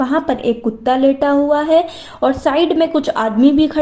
वहां पर एक कुत्ता लेटा हुआ है और साइड में कुछ आदमी भी खड़े --